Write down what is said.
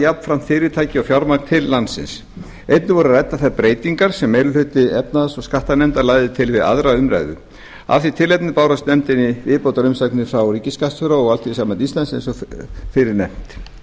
jafnframt fyrirtæki og fjármagn til landsins einnig voru ræddar þær breytingar sem meiri hluti efnahags og skattanefndar lagði til við aðra umræðu af því tilefni bárust nefndinni viðbótarumsagnir frá ríkisskattstjóra og alþýðusambandi íslands eins og fyrr er nefnt